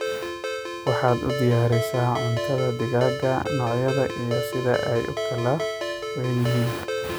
Waxaad u diyarisaa cuntadha digaaga nocoodha iyo sidha aay ukalaweyn yihiin.